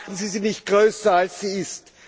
Machen Sie sie nicht größer, als sie ist.